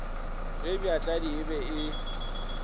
ge bjatladi e be e